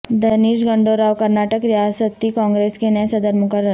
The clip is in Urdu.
دنیش گنڈو راو کرناٹک ریاستی کانگریس کے نئے صدر مقرر